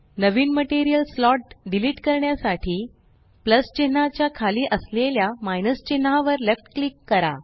नवीन material slot delete करण्यासाठी plus चिन्हाच्या खाली असलेल्या माइनस चिन्हावर लेफ्ट क्लिक करा